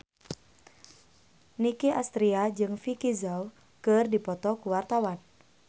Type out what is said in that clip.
Nicky Astria jeung Vicki Zao keur dipoto ku wartawan